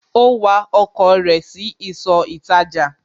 Ó wa ọkọ̀ rẹ̀ sí ìsọ̀ ìtajà